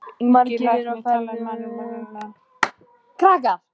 Ungi læknirinn talaði mannamál, nánast götumál.